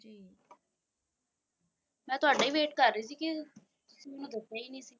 ਮੈਂ ਤੁਹਾਡਾ ਹੀ ਵੇਟ ਕਰ ਰਹੀ ਸੀ ਕਿ ਤੁਸੀਂ ਮੈਨੂੰ ਦੱਸੀਆ ਹੀ ਨਹੀਂ ਸੀ।